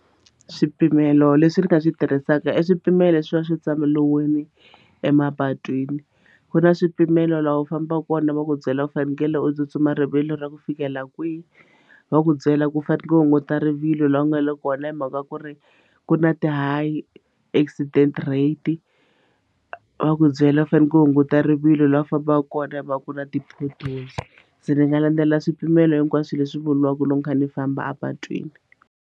Swipimelo leswi ni nga swi tirhisaka i swipimelo swo swi emapatwini ku na swipimelo la u fambaku kona va ku byela u fanekele u tsutsuma rivilo ra ku fikela kwihi va ku byela ku fanekele ku hunguta rivilo laha ku nga le kona hi mhaka ku ri ku na ti-high accident rate va ku byela u fanele ku hunguta rivilo laha u fambaka kona hi mhaka ku na ti-potholes se ni nga landzelela swipimelo hinkwaswo leswi vuriwaka loko ni kha ni famba epatwini.